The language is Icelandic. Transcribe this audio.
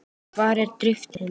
Hvar er drifið mitt?